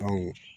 Aw ye